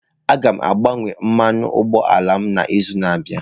Aga m agbanwe mmanụ ụgbọ ala m n'izu na-abịa.